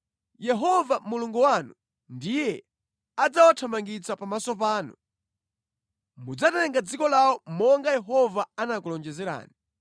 Yehova Mulungu wanu ndiye adzawathamangitsa pamaso panu. Mudzatenga dziko lawo monga Yehova anakulonjezerani.